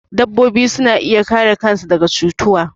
Dabbobi suna iya kare kan su daga cutuwa